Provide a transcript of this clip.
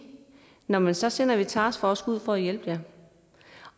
nå men så sender vi en taskforce ud for at hjælpe jer